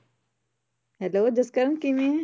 Hello Jaskaran ਕਿਵੇਂ ਹੈਂ?